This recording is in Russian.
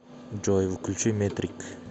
джой включи метрик